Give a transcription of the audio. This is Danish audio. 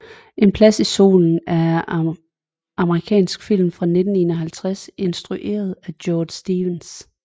En plads i solen er amerikansk film fra 1951 instrueret af George Stevens